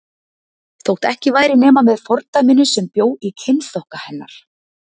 Þótt ekki væri nema með fordæminu sem bjó í kynþokka hennar.